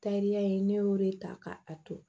Tariya in ne y'o de ta ka a to